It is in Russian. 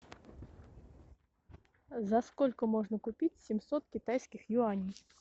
за сколько можно купить семьсот китайских юаней